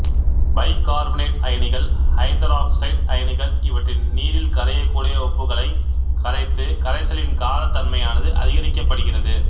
by carbonate அயனிகள் hydroxide அயனிகள் இவற்றின் நீரில் கரையக்கூடிய உப்புகளைக் கரைத்து கரைசலின் காரத்தன்மையானது அதிகரிக்கப்படுகிறது